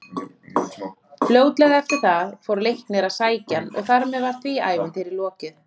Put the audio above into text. Fljótlega eftir það fór Leiknir að sækja hann og þar með var því ævintýri lokið.